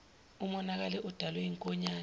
umonakale odalwe yinkonyane